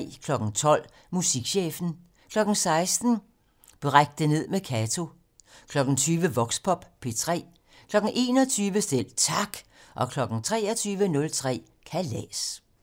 12:00: Musikchefen 16:00: Bræk det ned med Kato 20:00: Voxpop P3 21:00: Selv Tak 23:03: Kalas